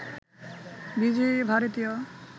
বিজয়ী ভারতীয়